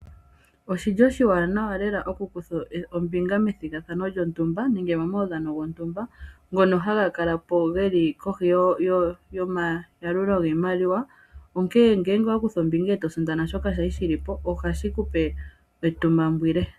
Oshili oshiwanawa oku kutha ombinga momawudhano go ntumba ngono geli kohi yoma yalulo giimaliwa. Ngele owa kutha ombinga eto sindana shoka shali shili po oho kala wuuvite uuntsa.